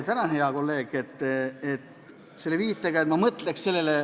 Tänan, hea kolleeg!